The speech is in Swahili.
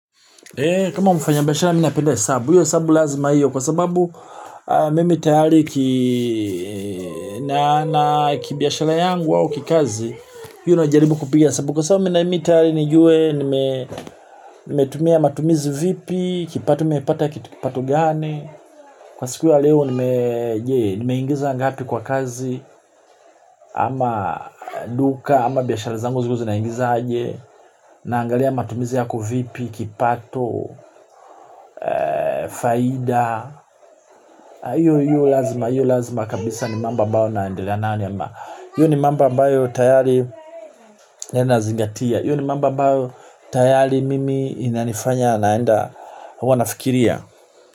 Kama mfanya biashara mi napenda hesabu, hiyo hesabu lazima hiyo kwa sababu mimi tayari kibiashara yangu au kikazi, hiyo najaribu kupigia hesabu. Kwa sababu mimi tayari nijue, nimetumia matumizi vipi, kipato nimepata kipato gani. Kwa siku ya leo je nimeingiza ngapi kwa kazi ama duka ama biashara zangu zilikuwa zinaingiza aje. Naangalia matumizi yako vipi, kipato, faida. Iyo lazima, iyo lazima kabisa ni mambo ambao naendelea nayo ama iyo ni mambo ambao tayari nazingatia. Iyo ni mambo ambao tayari mimi inanifanya naenda wanafikiria.